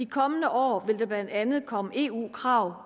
kommende år vil der blandt andet komme eu krav